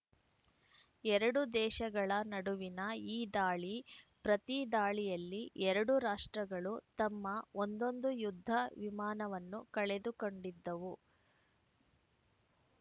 ಎರಡು ದೇಶಗಳ ನಡುವಿನ ಈ ದಾಳಿ ಪ್ರತಿ ದಾಳಿಯಲ್ಲಿ ಎರಡು ರಾಷ್ಟ್ರಗಳು ತಮ್ಮ ಒಂದೊಂದು ಯುದ್ಧ ವಿಮಾನವನ್ನು ಕಳೆದುಕೊಂಡಿದ್ದವು